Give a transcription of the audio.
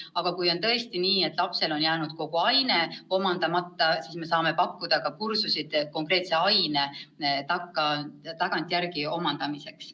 Aga kui on tõesti nii, et lapsel on jäänud kogu aine omandamata, siis me saame pakkuda ka kursuseid konkreetse aine tagantjärele omandamiseks.